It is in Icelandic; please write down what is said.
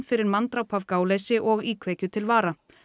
fyrir manndráp af gáleysi og íkveikju til vara